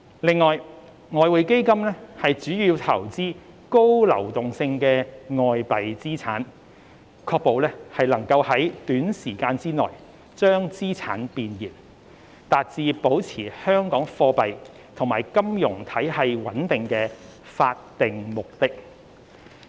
另外，外匯基金主要投資高流動性的外幣資產，確保能在短時間內將資產變現，達至保持香港貨幣及金融體系穩定的法定目的。